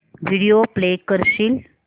video play करशील